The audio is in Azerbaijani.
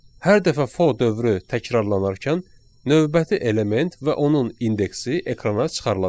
Hər dəfə fo dövrü təkrarlanarkən növbəti element və onun indeksi ekrana çıxarılacaq.